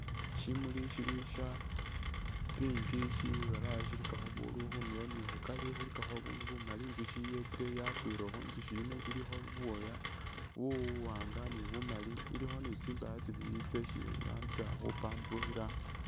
Shimuli shili sha pink shibalayi shilikakho ubundu khundulo ni khukari khulikakho ubundu bumali, inzushi yetsile yakwilekho inzushi yino ilikho buwooya buwanga ni bumali ,ilikho ni tsindaya tsibili tsesi iramblisa khu pamburukhila